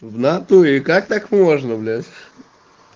в натуре как так можно блять